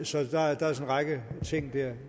så der er en række ting der